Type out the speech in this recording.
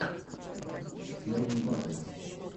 первые батл